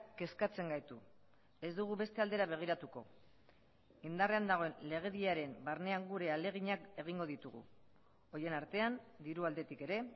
kezkatzen gaitu ez dugu beste aldera begiratuko indarrean dagoen legediaren barnean gure ahaleginak egingo ditugu horien artean diru aldetik ere